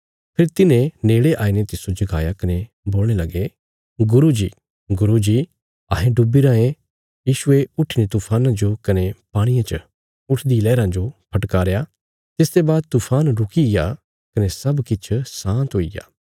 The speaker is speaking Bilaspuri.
फेरी तिन्हें नेड़े आईने तिस्सो जगाया कने बोलणे लगे गुरू जी गुरू जी अहें डुबी रायें यीशुये उट्ठीने तूफाना जो कने पाणिये च उठदी लैहराँ जो फटकारया तिसते बाद तूफान रुकिग्या कने सब किछ शाँत हुईग्या